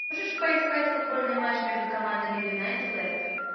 можешь поискать футбольный матч между командами юнайтед лестер